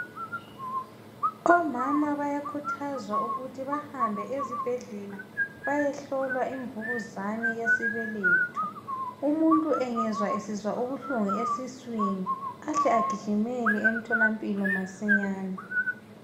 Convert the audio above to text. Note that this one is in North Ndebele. omama bayakhuthazwa ukuthi bahambe ezibhedlela bayehlolwa imvukuzane yesibeletho umuntu engezwa esizwa ubuhlungu esiswini ahle agijimele emtholampilo masinyane